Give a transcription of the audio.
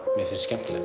mér finnst skemmtilegt